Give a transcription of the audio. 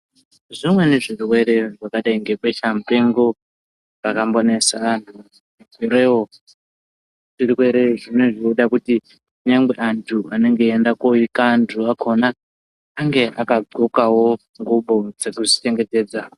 Zvimweni zvirwere zvakadai ngebesha mupengo zvakambonesa sureyo. Zvirwere zvinenga zveide kuti nyangwe antu anonga eiende kooika antu akhona ange akadhlokawo ngubo dzekuzvi chengetedza.